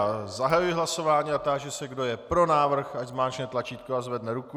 Já zahajuji hlasování a táži se, kdo je pro návrh, ať zmáčkne tlačítko a zvedne ruku.